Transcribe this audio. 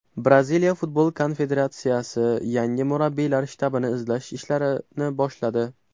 Braziliya Futbol Konfederatsiyasi yangi murabbiylar shtabini izlash ishlarini boshladi.